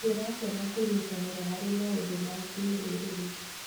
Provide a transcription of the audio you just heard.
Ndĩrakena kũnyitanĩra harĩ maũndũ ma kĩrũrĩrĩ.